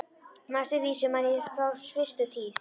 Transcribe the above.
Næstu vísu man ég frá fyrstu tíð.